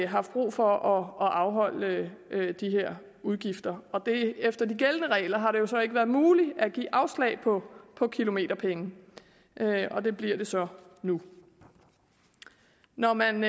haft brug for at afholde de her udgifter efter de gældende regler har det jo så ikke været muligt at give afslag på kilometerpenge og det bliver det så nu når man